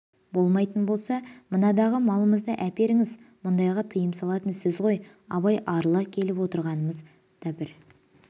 болмайтын болса мынадағы малымызды әперіңіз мұндайға тыйым салатын сіз ғой абай арыла келіп отырғанымыз да бір